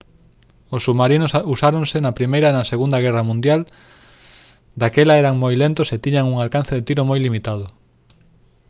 os submarinos usáronse na primeira e na segunda guerra mundial daquela eran moi lentos e tiñan un alcance de tiro moi limitado